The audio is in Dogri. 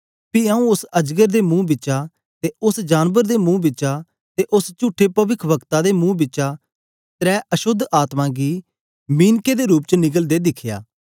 पी आऊँ उस्स अजगर दे मुंह बिचा ते उस्स जानबर दे मुंह बिचा ते उस्स चुठे पविक्श्वक्ता दे मुंह बिचा त्रै अशोद्ध आत्मा गी मिनकें दे रूप च निकलदे दिखया